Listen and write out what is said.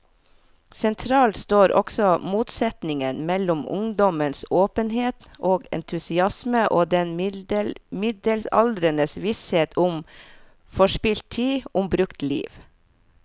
Sentralt står også motsetningen mellom ungdommens åpenhet og entusiasme og den middelaldrendes visshet om forspilt tid, om brukt liv.